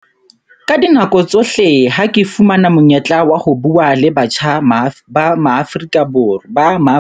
Ka dinako tsohle ha ke fumana monyetla wa ho bua le batjha ba Maafrika.